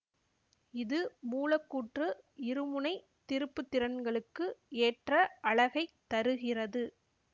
இது மூலக்கூற்று இருமுனை திருப்புத்திறன்களுக்கு ஏற்ற அலகைத் தருகிறது